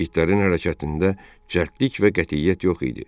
İtlərin hərəkətində cəldlik və qətiyyət yox idi.